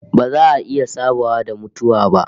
Ba za a iya sabawa da mutuwa ba